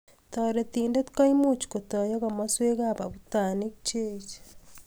Taritident koimuch kotoyaa kimaswek ab abutanick cheech